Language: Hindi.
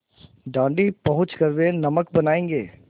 दाँडी पहुँच कर वे नमक बनायेंगे